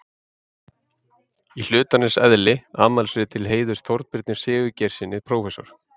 Í hlutarins eðli: Afmælisrit til heiðurs Þorbirni Sigurgeirssyni prófessor.